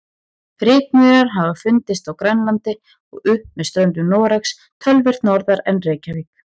Rykmaurar hafa fundist á Grænlandi og upp með ströndum Noregs, töluvert norðar en Reykjavík.